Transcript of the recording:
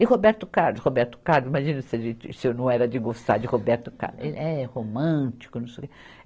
E Roberto Carlos, Roberto Carlos, imagina se se eu não era de gostar de Roberto Carlos, ele é romântico, não sei o quê.